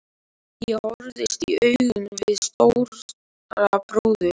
Ég horfðist í augu við Stóra bróður.